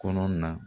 Kɔnɔ na